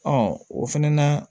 Ɔ o fɛnɛ na